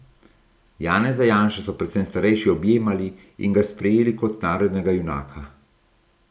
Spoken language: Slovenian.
Janeza Janšo so predvsem starejši objemali in ga sprejeli kot narodnega junaka.